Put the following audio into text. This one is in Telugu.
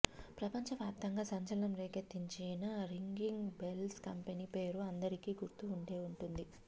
ప్రపంచవ్యాప్తంగా సంచలనం రేకెత్తించిన రింగింగ్ బెల్స్ కంపెనీ పేరు అందరికీ గుర్తు ఉండే ఉంటుంది